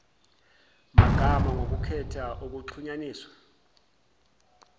magama ngokukhetha ukuxhunyaniswa